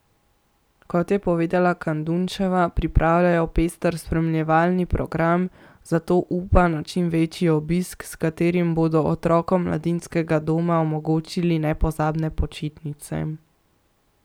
Kot je povedala Kadunčeva, pripravljajo pester spremljevalni program, zato upa na čim večji obisk, s katerim bodo otrokom mladinskega doma omogočili nepozabne počitnice.